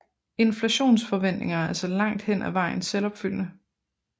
Inflationsforventninger er altså langt hen ad vejen selvopfyldende